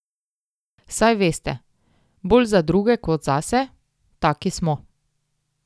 Saj veste, bolj za druge kot zase, taki smo.